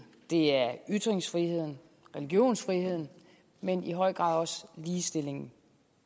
det er ytringsfriheden religionsfriheden men i høj grad også ligestillingen